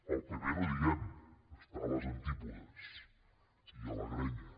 el pp no ho diguem està a les antípodes i a la grenya